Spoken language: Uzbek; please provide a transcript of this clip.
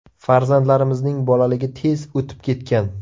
Farzandlarimizning bolaligi tez o‘tib ketgan.